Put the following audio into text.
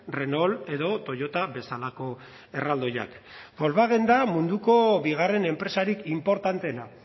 renault edo toyota bezalako erraldoiak volkswagen da munduko bigarren enpresarik inportanteena